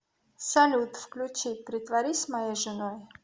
салют включи притворись моей женой